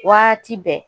Waati bɛɛ